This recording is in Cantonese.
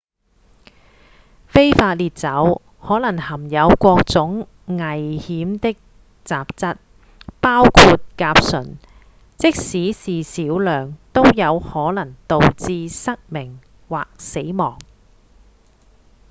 非法烈酒可能含有各種危險的雜質包括甲醇即使是少量都有可能導致失明或死亡